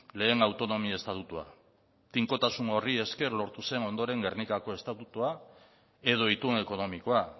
lehen autonomia estatutua tinkotasun horri esker lortu zen ondore gernikako estatutua edo itun ekonomikoa